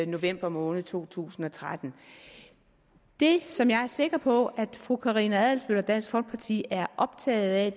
november måned to tusind og tretten det som jeg er sikker på at fru karina adsbøl og dansk folkeparti er optaget af